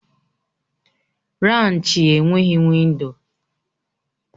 Raanchi enweghị windo.